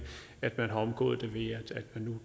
at man har omgået det ved at